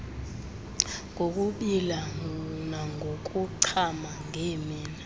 ngokubila nangokuchama ngeemini